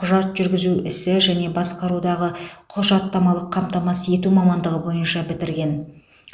құжат жүргізу ісі және басқарудағы құжаттамалық қамтамасыз ету мамандығы бойынша бітірген